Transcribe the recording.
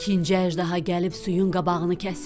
İkinci əjdaha gəlib suyun qabağını kəsib.